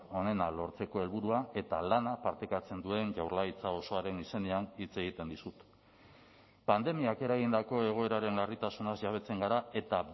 onena lortzeko helburua eta lana partekatzen duen jaurlaritza osoaren izenean hitz egiten dizut pandemiak eragindako egoeraren larritasunaz jabetzen gara eta